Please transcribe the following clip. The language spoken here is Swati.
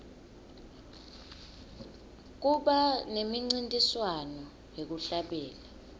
kuba nemincintiswano yekuhlabelela